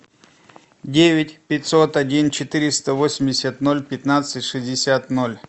девять пятьсот один четыреста восемьдесят ноль пятнадцать шестьдесят ноль